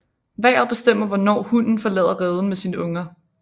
Vejret bestemmer hvornår hunnen forlader reden med sine unger